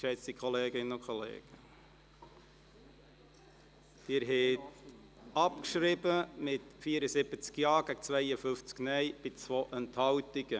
Geschätzte Kolleginnen und Kollegen, ich empfehle Ihnen, mit dem Verlassen des Saals noch zuzuwarten, denn es folgt noch eine weitere Abstimmung.